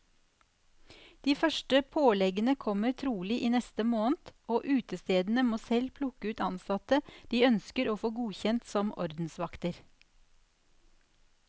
De første påleggene kommer trolig i neste måned, og utestedene må selv plukke ut ansatte de ønsker å få godkjent som ordensvakter.